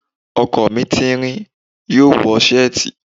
Ọkọ mi tẹẹrẹ, yoo wọ seeti.